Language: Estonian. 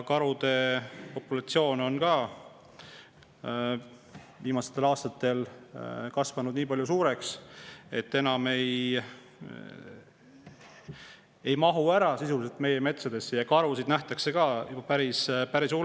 Karude populatsioon on viimastel aastatel kasvanud nii suureks, et nad enam sisuliselt ei mahu meie metsadesse ära ja karusid nähakse ka päris palju.